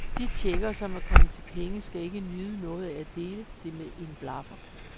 De tjekkere, som er kommet til penge, skal ikke nyde noget af at dele det med en blaffer.